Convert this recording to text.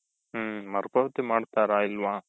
ಹ್ಮ್ ಮರು ಪಾವತಿ ಮಾಡ್ತಾರ ಇಲ್ವ?